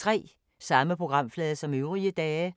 Samme programflade som øvrige dage